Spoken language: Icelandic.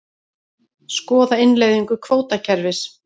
Skoða innleiðingu kvótakerfis